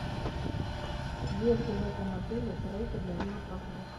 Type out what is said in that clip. есть ли в этом отеле треки для велопрогулок